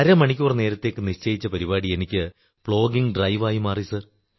അരമണിക്കൂർ നേരത്തേക്കു നിശ്ചയിച്ച പരിപാടി എനിക്ക് പ്ലോഗിംഗ് ഡ്രൈവായി മാറി